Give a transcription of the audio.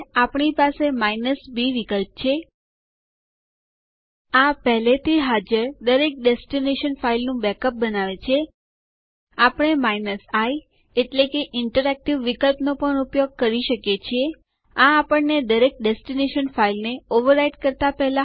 હવે ટર્મિનલ વર્તમાન યુઝર ડક માંથી લોગઆઉટ થાય છે અને પહેલાના યુઝર અકાઉન્ટ માં પાછું આવે છે જે આપણા કિસ્સા માં વિન્હાઈ છે